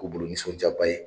K'o bolo nisɔndiyaba ye!